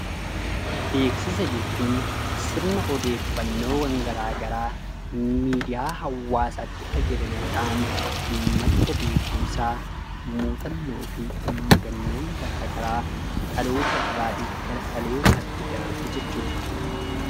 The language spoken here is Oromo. Beeksisa jechuun sirna odeeffannoowwan garaa garaa miidiyaa hawaasaatti fayyadamuudhaan madda beekumsaa muuxannoo fi mudannoon garaa garaa dhaloota irraa gara dhalootaatti darbu jechuudha.